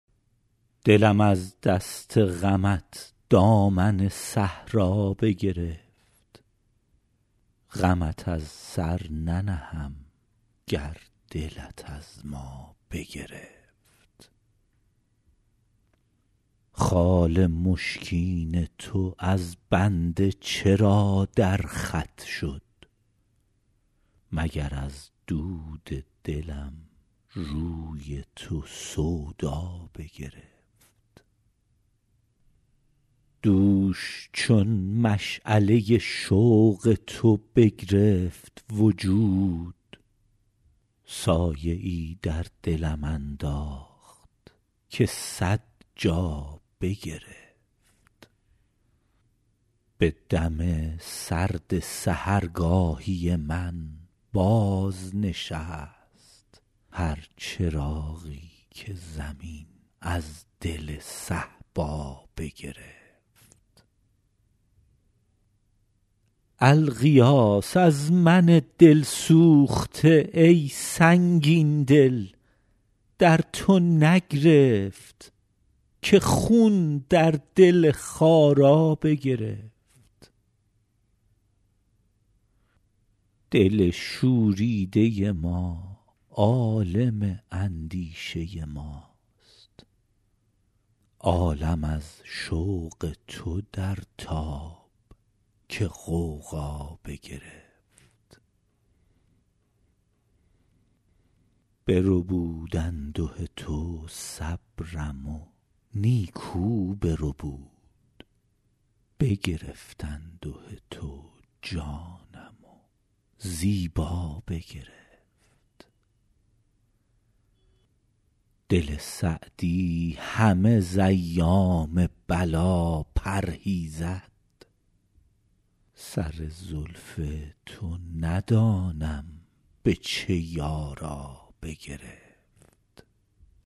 دلم از دست غمت دامن صحرا بگرفت غمت از سر ننهم گر دلت از ما بگرفت خال مشکین تو از بنده چرا در خط شد مگر از دود دلم روی تو سودا بگرفت دوش چون مشعله شوق تو بگرفت وجود سایه ای در دلم انداخت که صد جا بگرفت به دم سرد سحرگاهی من بازنشست هر چراغی که زمین از دل صهبا بگرفت الغیاث از من دل سوخته ای سنگین دل در تو نگرفت که خون در دل خارا بگرفت دل شوریده ما عالم اندیشه ماست عالم از شوق تو در تاب که غوغا بگرفت بربود انده تو صبرم و نیکو بربود بگرفت انده تو جانم و زیبا بگرفت دل سعدی همه ز ایام بلا پرهیزد سر زلف تو ندانم به چه یارا بگرفت